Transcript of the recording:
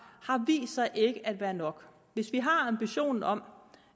har vist sig ikke at være nok hvis vi har ambitionen om